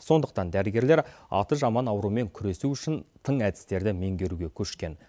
сондықтан дәрігерлер аты жаман аурумен күресу үшін тың әдістерді меңгеруге көшкен